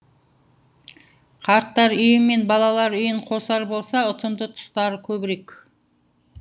қарттар үйі мен балалар үйін қосар болса ұтымды тұстары көбірек